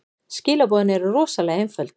Skilaboðin eru rosalega einföld.